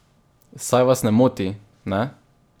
Saj vas ne moti, ne?